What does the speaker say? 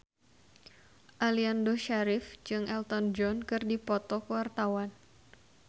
Aliando Syarif jeung Elton John keur dipoto ku wartawan